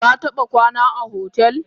Kataba kwana a hotel?